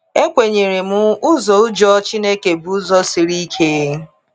Ekwenyere m, ụzọ ụjọ Chineke bụ ụzọ siri ike.